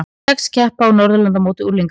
Sex keppa á Norðurlandamóti unglinga